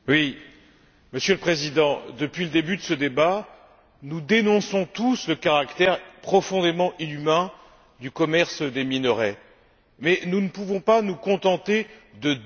Monsieur le Président, depuis le début de ce débat, nous dénonçons tous le caractère profondément inhumain du commerce des minerais mais nous ne pouvons pas nous contenter de dénoncer.